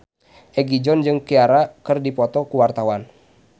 Egi John jeung Ciara keur dipoto ku wartawan